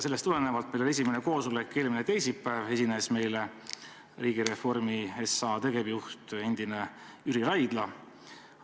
Meil oli esimene koosolek eelmine teisipäev, esines meile endine Riigireformi SA tegevjuht Jüri Raidla.